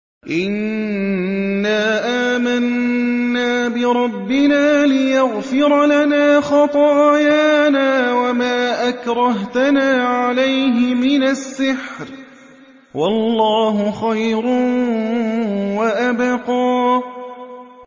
إِنَّا آمَنَّا بِرَبِّنَا لِيَغْفِرَ لَنَا خَطَايَانَا وَمَا أَكْرَهْتَنَا عَلَيْهِ مِنَ السِّحْرِ ۗ وَاللَّهُ خَيْرٌ وَأَبْقَىٰ